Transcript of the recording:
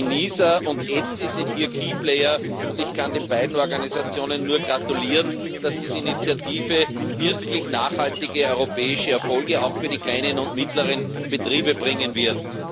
ENISA und ETSI sind hier und ich kann den beiden Organisationen nur gratulieren, dass diese Initiative wirklich nachhaltige europäische Erfolge auch für die kleinen und mittleren Betriebe bringen wird.